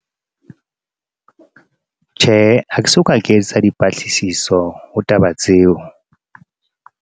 Tjhe, ha ke so ka ke etsa dipatlisiso ho taba tseo.